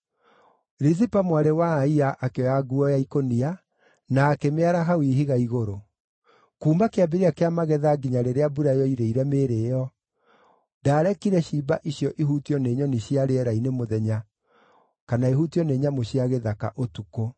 Rizipa mwarĩ wa Aia akĩoya nguo ya ikũnia, na akĩmĩara hau ihiga igũrũ. Kuuma kĩambĩrĩria kĩa magetha nginya rĩrĩa mbura yoirĩire mĩĩrĩ ĩyo, ndaarekire ciimba icio ihutio nĩ nyoni cia rĩera-inĩ mũthenya, kana ihutio nĩ nyamũ cia gĩthaka ũtukũ.